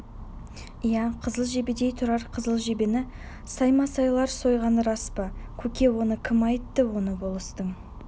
иә қызыл жебедей тұрар қызыл жебені саймасайлар сойғаны рас па көке оны кім айтты оны болыстың